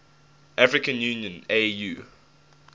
african union au